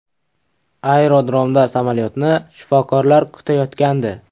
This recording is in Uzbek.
Aerodromda samolyotni shifokorlar kutayotgandi.